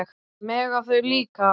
Mega þau líka?